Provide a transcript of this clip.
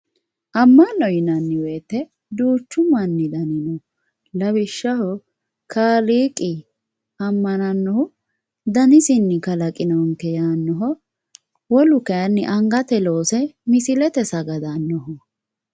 ammanno yinanni wote duuchu manni dani no lawishshaho kaaliqinni ammanannohu danisinni kalaqinonke yaannoho wolu kayiinni angatenni loose misilete sagadannoho.